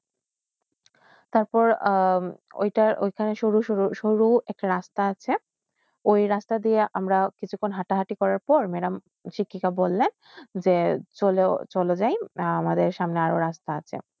তারপর আ ঐটার ঐখানে সরু রাস্তা আসে ঐ রাস্তা দিয়া আমরা হাটা-হাতি করতে প madam কীর্তিকা বললেন যে সোল জয়ে আমাদের সামনে আর রাস্তা আসে